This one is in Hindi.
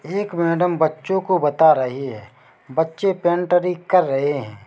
एक मैडम बच्चों को बता रही है बच्चे पैंटरी कर रहे है।